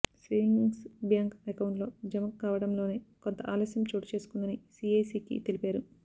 savings bank అకౌంట్లలో జమ కావడంలోనే కొంత ఆలస్యం చోటుచేసుకుందని సీఐసీకి తెలిపారు